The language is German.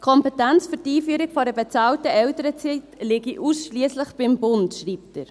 Die Kompetenz für die Einführung einer bezahlten Elternzeit liege ausschliesslich beim Bund, schreibt er.